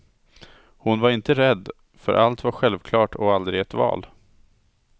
Hon var inte rädd, för allt var självklart och aldrig ett val.